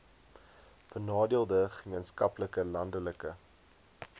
benadeelde gemeenskappe landelike